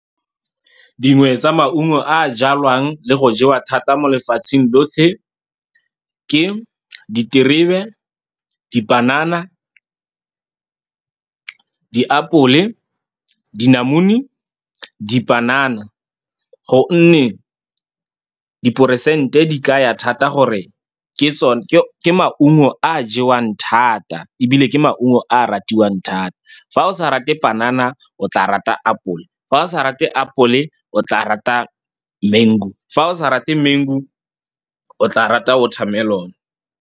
Dingwe tsa maungo a a jalwang le go jewa thata mo lefatsheng lotlhe ke diterebe, dipanana, diapole, dinamune, dipanana, ka gonne diporesente di kaya thata gore ke tsone ke maungo a a jewang thata, ebile ke maungo a a ratiwang thata. Fa o sa rate panana, o tla rata apole, fa o sa rate apole, o tla rata mengu, fa o sa rate mengu, o tla rata watermelon-e.